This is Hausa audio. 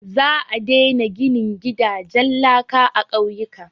Za a daina ginin gidajen laka a ƙauyuka.